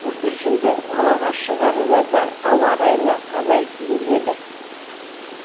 бүлдіршінді далаға шығарарда ауа райына қарай киіндіреді